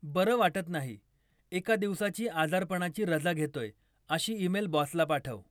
बरं वाटत नाही, एका दिवसाची आजारपणाची रजा घेतोय अशी ईमेल बॉसला पाठव.